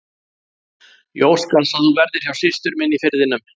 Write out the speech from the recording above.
Ég óska þess að þú verðir hjá systur minni í Firðinum.